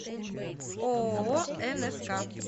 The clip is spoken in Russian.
ооо нск